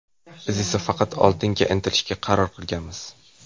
Biz esa faqat oldinga intilishga qaror qilganmiz.